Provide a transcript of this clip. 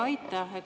Aitäh!